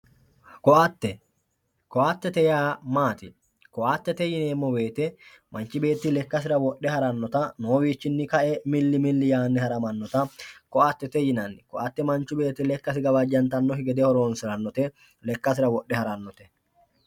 koatte koattete yaa maati? koatete yineemmo wote manchi beetti lekkasira wodhe harannota noowiinni kae milli milli yaanni haramannota koattete yinanni koatte manchu beetti lekkasi gawajjantannokki gede horonsirannote lekkasira wodhe harannote.